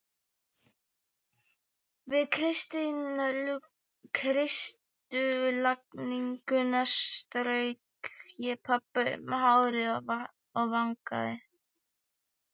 Við kistulagninguna strauk ég pabba um hárið og vangann.